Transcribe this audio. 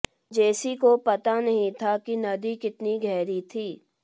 जेसी को पता नहीं था कि नदी कितनी गहरी थी